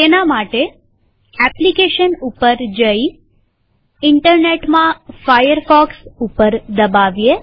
તેના માટે એપ્લીકેશન પર જઈઈન્ટરનેટમાં ફાયરફોક્સ ઉપર દબાવીએ